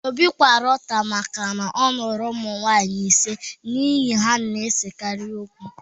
Obi kwara ụta maka na ọ lụrụ ụmụ nwanyị ise n’ihi na ha na-esekarị okwu